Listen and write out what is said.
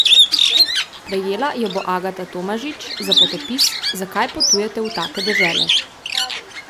Prejela jo bo Agata Tomažič za potopis Zakaj potujete v take dežele?